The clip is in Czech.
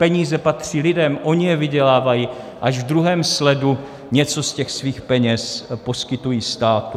Peníze patří lidem, oni je vydělávají, až v druhém sledu něco z těch svých peněz poskytují státu.